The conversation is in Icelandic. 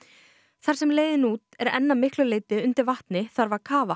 þar sem leiðin út er enn að miklu leyti undir vatni þarf að kafa